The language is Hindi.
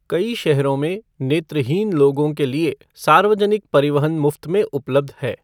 कई शहरों में नेत्रहीन लोगों के लिए सार्वजनिक परिवहन मुफ्त में उपलब्ध है।